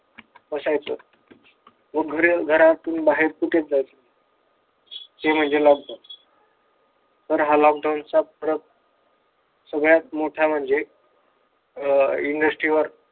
बसायचो व लोक घरातून बाहेर कुठेच जायचो नाही ते म्हणजे लॉकडाऊन तर हा लॉकडाऊनचा प्रग सगळ्यात मोठा म्हणजे अह industry वर